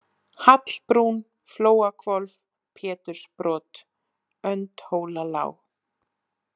Hallbrún, Flóahvolf, Pétursbrot, Öndhólalág